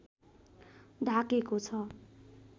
ढाकेको छ